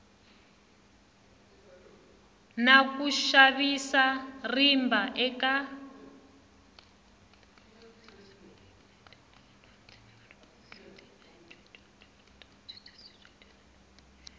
na ku xavisa rimba eka